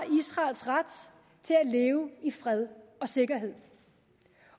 israels ret til at leve i fred og sikkerhed